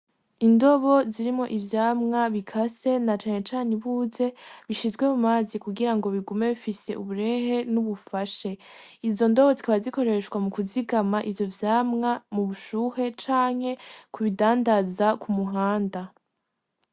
Indobo zirimwo ivyamwa bikase na cane cane ibuze bishizwe mumazi kugirango bigume bifise uburehe n'ubufashe izo ndobo zikaba zikoreshwa mu kuzigama ivyo vyama mu bushuhe canke kubidandaza kumuhanda.